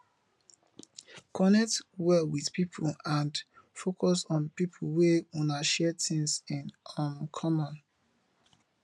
connect well with pipo and focus on pipo wey una share things in um common